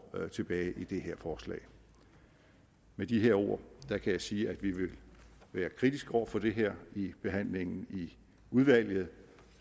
tilbage i det her forslag med de ord kan jeg sige at vi vil være kritiske over for det her i behandlingen i udvalget